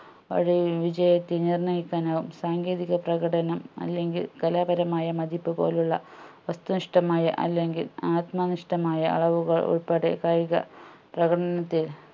അവിടെ വിജയത്തെ നിർണ്ണയിക്കാനാവും സാങ്കേതിക പ്രകടനം അല്ലെങ്കിൽ കലാപരമായ മതിപ്പു പോലുള്ള വസ്തുനിഷ്ടമായ അല്ലെങ്കിൽ ആത്മനിഷ്ടമായ അളവുകൾ ഉൾപ്പെടെ കായിക പ്രകടനത്തെ